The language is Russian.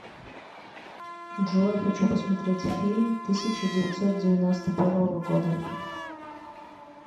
джой хочу посмотреть фильм тысяча девятьсот девяносто первого года